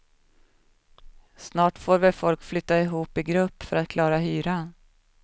Snart får väl folk flytta ihop i grupp för att klara hyran.